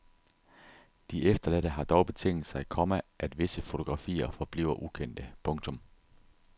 De efterladte har dog betinget sig, komma at visse fotografier forbliver ukendte. punktum